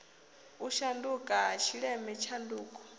u shanduka ha tshileme tshanduko